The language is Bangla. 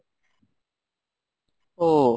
ও।